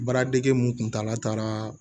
Baaradege mun kuntala taara